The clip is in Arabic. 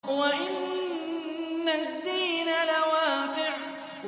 وَإِنَّ الدِّينَ لَوَاقِعٌ